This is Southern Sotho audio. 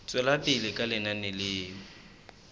tswela pele ka lenaneo la